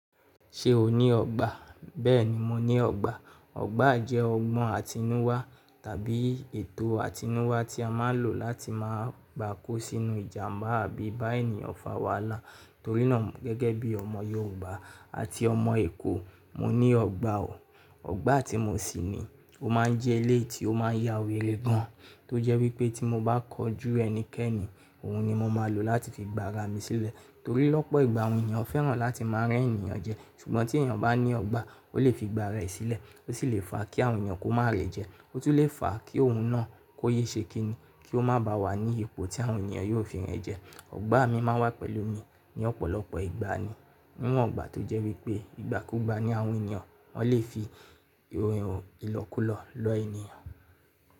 Ṣé o ní ọgbà? Bẹ́ẹ̀ni, mo ní ọgbà. Ọgbà jẹ́ ọgbọ́n àtinúwá tàbí ètò àtinúwá tí a máa ń lò láti máa bá kó sínú ìjàmbá àbí bá ènìyàn fà wáhala. Torí náà gẹ́gẹ́ bí ọmọ Yorùbá àti ọmọ Èkó, mo ní ọgbà o. Ọgbà tí mo ṣì ní, ó máa ń jẹ́ ilé tí ó máa ń ya were gan, tó jẹ́ wípé tí mo bá kọjú ẹnikẹ́ni, òun ni mo máa lò láti fi gba ara mi sílẹ̀. Torí lọ́pọ̀ ìgbà àwọn ènìyàn fẹ́ràn láti máa rán ènìyàn jẹ ṣùgbọ́n tí ènìyàn bá ní ọgbà, ó lè fi gba ara rẹ̀ sílẹ̀, ó sì lè fà á kí àwọn ènìyàn kó má rẹ̀ jẹ, ó tún lè fà á kí òun náà kó yé ṣe kín ni, kí ó má bá wà ní ipò tí àwọn ènìyàn yóò fi rẹ̀ jẹ. Ọgbà mi máa ń wà pẹ̀lú mi ní ọ̀pọ̀lọpọ̀ ìgbà ni, ni won igbà tó jẹ́ wípé ìgbàkúgbà ní àwọn ènìyàn wọ́n lè fi ohun ìlọkúlọ lọ́ ènìyàn.